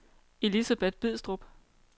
Elisabeth Bidstrup